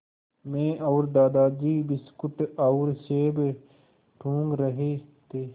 मैं और दादाजी बिस्कुट और सेब टूँग रहे थे